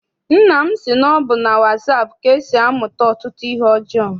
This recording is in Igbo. Nna m sị na ọ bụ na wasaapụ ka e si amụta ọtụtụ ihe ọjọọ.